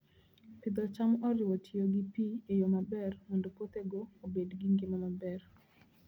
Pith cham oriwo tiyo gi pi e yo maber mondo puothego obed gi ngima maber.